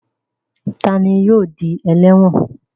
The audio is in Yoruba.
Ta ni yóò di ẹlẹ́wọ̀n?